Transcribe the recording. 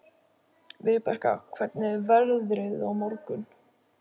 Vibeka, hvernig er veðrið á morgun?